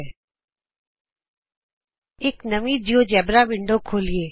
ਆਉ ਇਕ ਨਵੀਂ ਜਿਉਜੇਬਰਾ ਵਿੰਡੋ ਖੋਲ੍ਹੀਏ